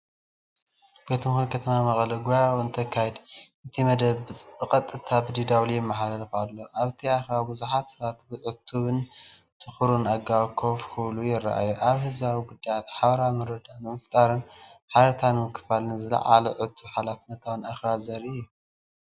ቤት ምኽሪ ከተማ መቐለ ጉባኤኡ እንተካይድ። እቲ መደብ ብቐጥታ ብDW ይመሓላለፍ ኣሎ። ኣብቲ ኣኼባ ብዙሓት ሰባት ብዕቱብን ትኩርን ኣገባብ ኮፍ ክብሉ ይረኣዩ። ኣብ ህዝባዊ ጉዳያት ሓባራዊ ምርድዳእ ንምፍጣርን ሓበሬታ ንምክፋልን ዝዓለመ ዕቱብን ሓላፍነታውን ኣኼባ ዘርኢ እዩ።